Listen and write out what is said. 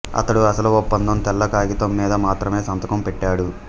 అతడు అసలు ఒప్పందం తెల్ల కాగితం మీద మాత్రమే సంతకం పెట్టాడు